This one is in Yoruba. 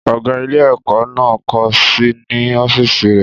Ọ̀gá ilé-ẹ̀kọ́ náà kò sí ní ọ́fíìsì rẹ̀.